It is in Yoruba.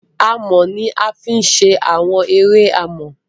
amò ní a fì ṣe Àwọn eré amò.